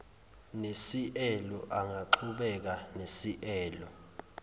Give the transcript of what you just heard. nesieelo angaqhubeka nesieelo